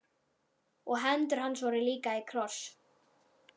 Og hendur hans voru líka í kross.